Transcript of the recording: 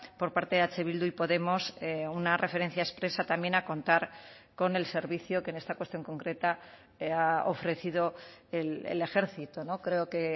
por parte de eh bildu y podemos una referencia expresa también a contar con el servicio que en esta cuestión concreta ha ofrecido el ejército no creo que